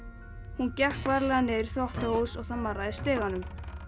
hún gekk varlega niður í þvottahús og það marraði í stiganum